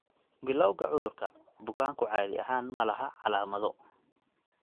Bilawga cudurka, bukaanku caadi ahaan ma laha calaamado.